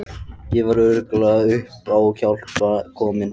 Ég var algjörlega upp á hjálpina komin.